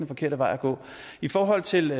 forkerte vej at gå i forhold til